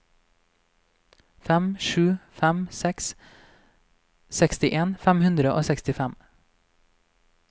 fem sju fem seks sekstien fem hundre og sekstifem